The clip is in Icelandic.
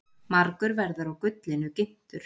Margur verður á gullinu ginntur.